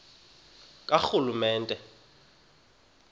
karhulumente